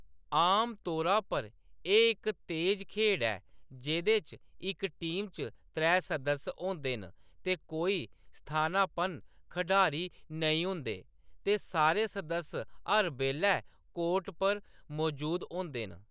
आमतौरा पर एह्‌‌ इक तेज खेढ ऐ जेह्‌‌‌दे च इक टीम च त्रै सदस्य होंदे न ते कोई स्थानापन्न खढारी नेईं होंदे, ते सारे सदस्य हर बेल्लै कोर्ट पर मजूद होंदे न।